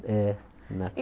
É,